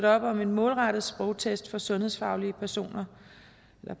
op om en målrettet sprogtest for sundhedsfagligt personale